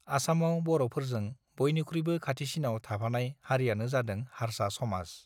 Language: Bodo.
आसामाव बर फोरजों बयनिख्रुइबो खाथिसिनाव थाफानाय हारिआनो जादों हार्सा समाज